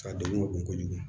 A degun ka bon kojugu